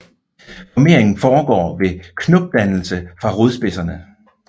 Formeringen foregår ved knopdannelse fra rodspidserne